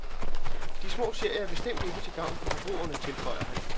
De små serier er bestemt ikke til gavn for forbrugerne, tilføjer han.